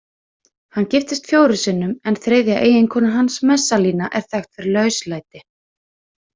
Hann giftist fjórum sinnum en þriðja eiginkona hans, Messalína, er þekkt fyrir lauslæti.